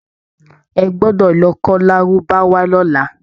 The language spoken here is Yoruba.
E gbọdọ̀ lọ kọ́ lárúbáwá lọ́la!